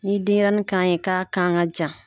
N'i yi denɲɛrɛnin kan ye k'a kan ka jan